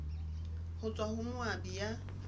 ho tswa ho moabi ya